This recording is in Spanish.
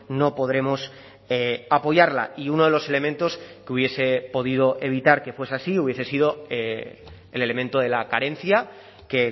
no podremos apoyarla y uno de los elementos que hubiese podido evitar que fuese así hubiese sido el elemento de la carencia que